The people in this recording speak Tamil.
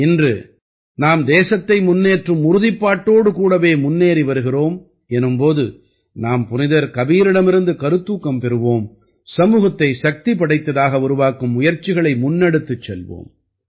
இன்று நாம் தேசத்தை முன்னேற்றும் உறுதிப்பாட்டோடு கூடவே முன்னேறி வருகிறோம் எனும் போது நாம் புனிதர் கபீரிடமிருந்து கருத்தூக்கம் பெறுவோம் சமூகத்தை சக்தி படைத்ததாக உருவாக்கும் முயற்சிகளை முன்னெடுத்துச் செல்வோம்